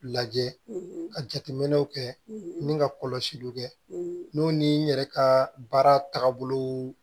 Lajɛ ka jateminɛw kɛ min ka kɔlɔsiliw kɛ n'o ni n yɛrɛ ka baara tagabolo